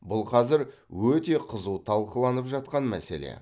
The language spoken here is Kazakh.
бұл қазір өте қызу талқыланып жатқан мәселе